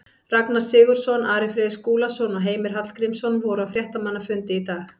Ragnar Sigurðsson, Ari Freyr Skúlason og Heimir Hallgrímsson voru á fréttamannafundi í dag.